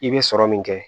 I bɛ sɔrɔ min kɛ